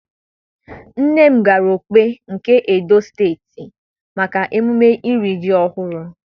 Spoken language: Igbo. Nne m gara Okpe, nke Edo Steeti maka emume iri ji ọhụrụ.